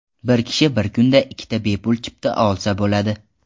Bir kishi bir kunda ikkita bepul chipta olsa bo‘ladi.